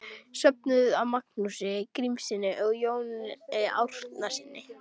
Söfnuð af Magnúsi Grímssyni og Jóni Árnasyni.